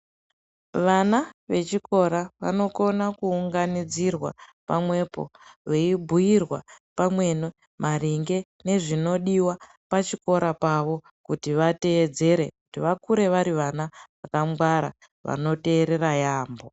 Vana vechikora vanokona vanokona Kuunganidzirwa pamwepo veibhuirwa pamweni maringe nezvinodiwa pachikora pawo kuti vateedzere kuti vakure vari vana vakangwara vanoteerera yaamho.